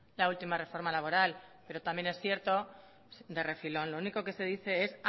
la última reforma laboral pero también es cierto de refilón lo único que se dice es